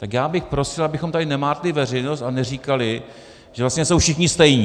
Tak já bych prosil, abychom tady nemátli veřejnost a neříkali, že vlastně jsou všichni stejní.